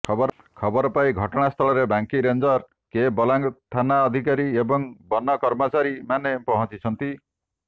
ଖବର ପାଇ ଘଟଣାସ୍ଥଳରେ ବାଙ୍କୀ ରେଞ୍ଜର କେ ବଲାଙ୍ଗ ଥାନା ଅଧିକାରୀ ଏବଂ ବନକର୍ମଚାରୀମାନେ ପହଞ୍ଚିଛନ୍ତି